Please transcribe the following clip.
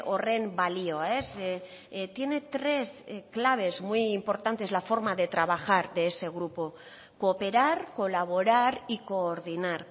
horren balioa tiene tres claves muy importantes la forma de trabajar de ese grupo cooperar colaborar y coordinar